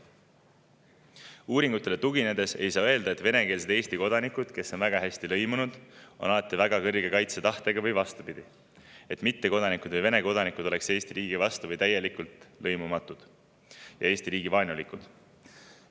Uuringutele tuginedes ei saa öelda, et venekeelsed Eesti kodanikud, kes on väga hästi lõimunud, oleksid alati väga kõrge kaitsetahtega, või vastupidi, et mittekodanikud või Vene kodanikud oleksid Eesti riigi vastu või täielikult lõimumatud ja Eesti riigi suhtes vaenulikud.